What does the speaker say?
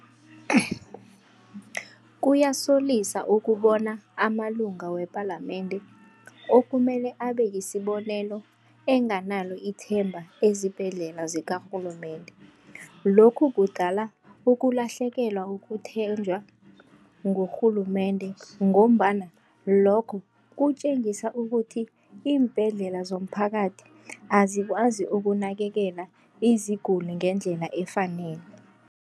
Kuyasolisa ukubona amalunga wepalamende okumele abeyisibonelo enganalo ithemba ezibhedlela zikarhulumende. Lokhu kudala ukulahlekelwa ukuthenjwa ngurhulumende ngombana lokho kutjengisa ukuthi, iimbhedlela zomphakathi azikwazi ukunakekela iziguli ngendlela efaneleko.